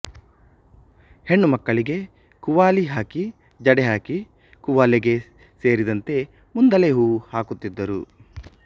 ಹೆಣ್ಣು ಮಕ್ಕಳಿಗೆ ಕುವಾಲಿ ಹಾಕಿ ಜಡೆಹಾಕಿ ಕುವಾಲೆಗೆ ಸೇರಿಂದತೆ ಮುಂದಲೆ ಹೂವು ಹಾಕುತ್ತಿದ್ದರು